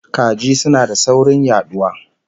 Kaji suna da saurin yaduwa